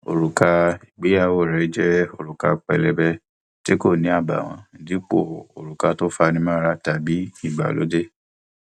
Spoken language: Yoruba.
òrùka ìgbéyàwó rẹ jẹ òrùka pélébé tí kò ní àbààwọn dípò òrùka tó fani mọra tàbí ìgbàlódé